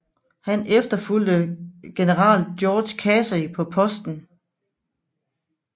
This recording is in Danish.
Han efterfulgte general George Casey på posten